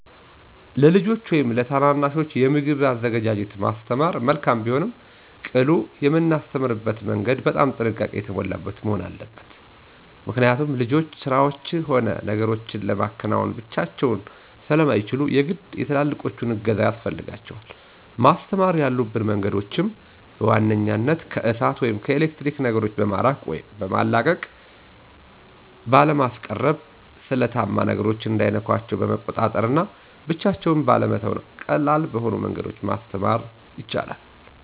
ለልጆች ወይም ለታናናሾች የምግብን አዘገጃጀት ማስተማር መልካም ቢሆንም ቅሉ የምናስተምርበትም መንገድ በጣም ጥንቃቄ የሞላበት መሆን አለበት። ምክኒያት ልጆች ስራዎችን ሆነ ነገሮችን ለማከናወን ብቻቸውን ስለማይችሉ የግድ የትላላቆቹ እገዛ ያስፈልጋል። ማስተማር ያሉብን መንገዶችም፦ በዋንኛነት ከእሳት ወይም ከኤሌክትሪክ ነገሮ በማራቅ ወይም ባለማስቀረብ፣ ስለታማ ነገሮች እንዳይነኳቸው በመቆጣጠር እና ብቻቸውን ባለመተው ቀላል በሆኑ መንገዶች ማስተማር ይቻላል።